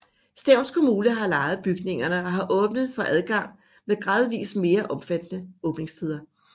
Stevns Kommune har lejet bygningerne og har åbnet for adgang med gradvis mere omfattende åbningstider